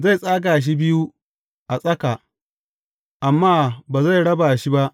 Zai tsaga shi biyu a tsaka, amma ba zai raba shi ba.